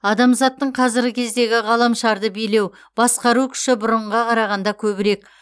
адамзаттың қазіргі кездегі ғаламшарды билеу басқару күші бұрынғыға қарағанда көбірек